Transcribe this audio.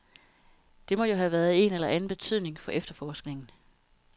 Det må jo have en eller anden betydning for efterforskningen.